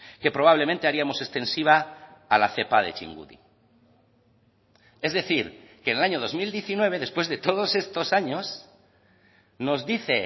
que probablemente haríamos extensiva a la cepa de txingudi es decir que en el año dos mil diecinueve después de todos estos años nos dice